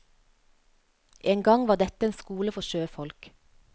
En gang var dette en skole for sjøfolk.